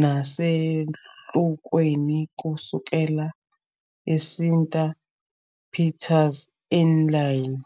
nasesahlukweni kusukela eSint-Pieters eLille.